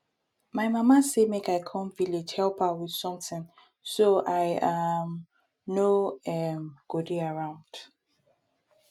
my mama say make i come village help her with something so i um no um go dey around